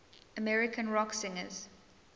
american rock singers